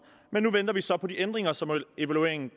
men nu venter vi så på de ændringer som evalueringen